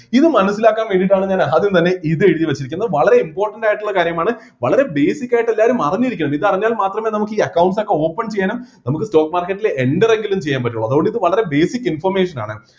ഇത് മനസ്സിലാക്കാൻ വേണ്ടിട്ടാട്ടാണ് ഞാൻ ആദ്യം തന്നെ ഇത് എഴുതിവെച്ചിരിക്കുന്നത് വളരെ important ആയിട്ടുള്ള കാര്യമാണ് വളരെ basic ആയിട്ട് എല്ലാരും അറിഞ്ഞിരിക്കണം ഇത് അറിഞ്ഞാൽ മാത്രമെ നമുക്ക് ഈ accounts ഒക്കെ open ചെയ്യണം നമുക്ക് stock market ൽ enter എങ്കിലും ചെയ്യാൻ പറ്റുള്ളൂ അതുകൊണ്ട് ഇത് വളരെ basic information ആണ്